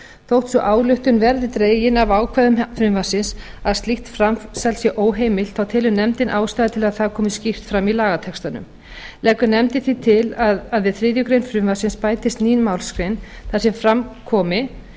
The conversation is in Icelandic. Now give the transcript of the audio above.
þótt sú ályktun verði dregin af ákvæðum frumvarpsins að slíkt framsal sé óheimilt þá telur nefndin ástæðu til að það komi skýrt fram í lagatextanum leggur nefndin því til að við þriðju greinar frumvarpsins bætist ný málsgrein þar sem fram komi